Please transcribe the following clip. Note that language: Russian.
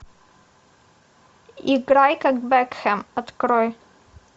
играй как бекхэм открой